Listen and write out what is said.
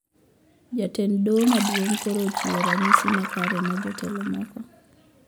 Jatend doho maduong` koro ochiwo ranyisi makare ne jotelo mamoko